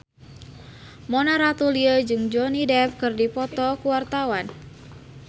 Mona Ratuliu jeung Johnny Depp keur dipoto ku wartawan